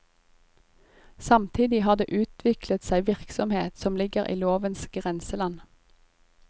Samtidig har det utviklet seg virksomhet som ligger i lovens grenseland.